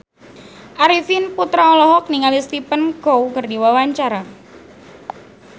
Arifin Putra olohok ningali Stephen Chow keur diwawancara